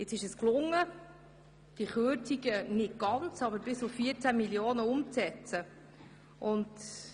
Jetzt ist es gelungen, diese Kürzungen nicht ganz, aber bis auf 14 Mio. Franken umzusetzen.